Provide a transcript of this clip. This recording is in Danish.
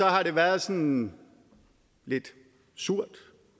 har det været sådan lidt surt